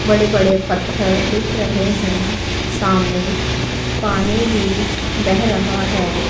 बड़े बड़े पत्थर दिख रहे हैं सामने पानी भी बेह रहा हैं।